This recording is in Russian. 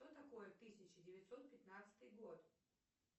что такое тысяча девятьсот пятнадцатый год